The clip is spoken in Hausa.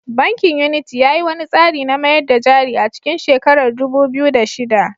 Bankin Unity ya yi wani tsari na mayar da jari a cikin shekarar dubu biyu da shida.